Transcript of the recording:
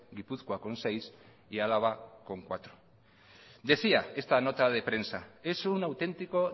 gipuzkoa con seis y álava con cuatro decía esta nota de prensa es un auténtico